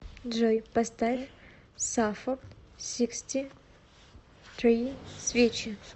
джой поставь саффорд сиксти три свечи